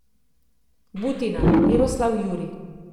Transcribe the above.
Butina, Miroslav Jurij.